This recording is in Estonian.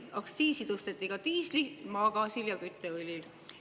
Aktsiisi tõsteti diislil, maagaasil ja kütteõlil.